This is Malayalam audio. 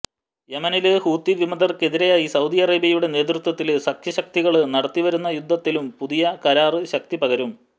യെമനില് ഹൂത്തി വിമതര്ക്കെതിരായി സൌദി അറേബ്യയുടെ നേതൃത്വത്തില് സഖ്യശക്തികള് നടത്തിവരുന്ന യുദ്ധത്തിനും പുതിയ കരാര് ശക്തി പകരും